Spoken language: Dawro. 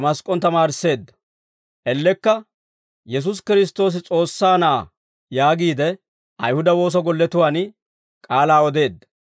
Ellekka, «Yesuusi Kiristtoosi S'oossaa Na'aa» yaagiide, Ayihuda woosa golletuwaan k'aalaa odeedda.